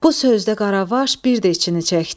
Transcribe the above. Bu sözdə Qaravaş bir də içini çəkdi.